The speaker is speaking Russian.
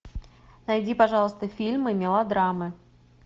найди пожалуйста фильмы мелодрамы